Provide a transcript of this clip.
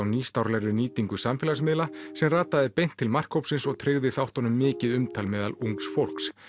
nýstárlegri nýtingu samfélagsmiðla sem rataði beint til markhópsins og tryggði þáttunum mikið umtal meðal ungs fólks